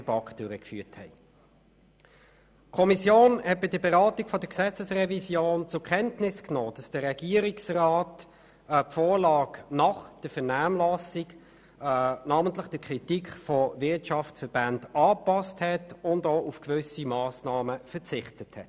der BaK. Die Kommission hat bei der Beratung der Gesetzesrevision zur Kenntnis genommen, dass der Regierungsrat die Vorlage nach der Vernehmlassung namentlich der Kritik von Wirtschaftsverbänden angepasst und auch auf gewisse Massnahmen verzichtet hat.